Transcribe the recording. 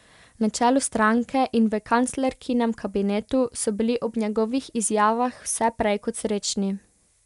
Na čelu stranke in v kanclerkinem kabinetu so bili ob njegovih izjavah vse prej kot srečni.